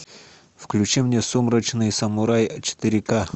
включи мне сумрачный самурай четыре к